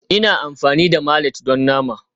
Ina amfani da mallet don nama